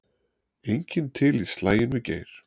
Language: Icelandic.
Enginn til í slaginn við Geir